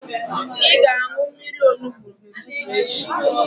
Ị ga-aṅụ mmiri onugbu n'ụtụtụ echi.